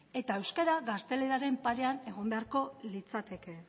eta euskara gazteleraren parean egon beharko litzateke